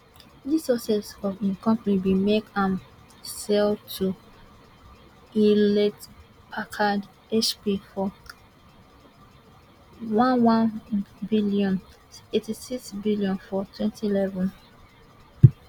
dis success of im company bin make am um sell to hewlettpackard hp for one one billion eighty six billion for twenty eleven